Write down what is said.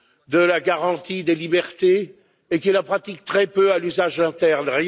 de la garantie des libertés et qui la pratique très peu à l'usage interne.